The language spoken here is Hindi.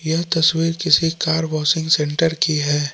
यह तस्वीर किसी कार वाशिंग सेंटर की है।